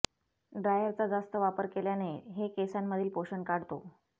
ड्रायरचा जास्त वापर केल्याने हे केसांमधील पोषण काढतो